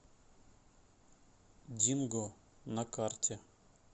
динго на карте